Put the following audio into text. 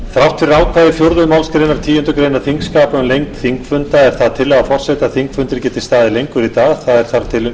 þrátt fyrir ákvæði fjórðu málsgreinar tíundu greinar þingskapa um lengd þingfunda er það tillaga forseta að þingfundir geti staðið lengur í dag þar til